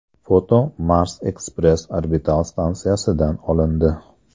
Foto Mars Express orbital stansiyasidan olindi.